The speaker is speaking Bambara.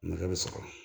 Nɛgɛ bɛ sɔrɔ